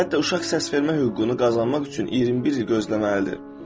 Hətta uşaq səsvermə hüququnu qazanmaq üçün 21 il gözləməlidir.